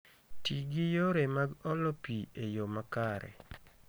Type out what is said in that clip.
Ti gi yore mag olo pi e yo makare